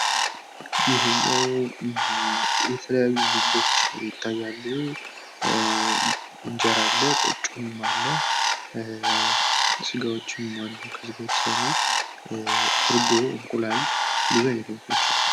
የተለያዩ ምግቦች አሉ ።እንጀራ፣ ቆጮ፣ ስጋዎችም አሉ። እንቁላል፣ እርጎ እና የተለያዩ ምግቦች አሉ ።